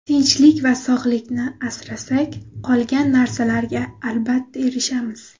Tinchlik va sog‘liqni asrasak, qolgan narsalarga albatta erishamiz.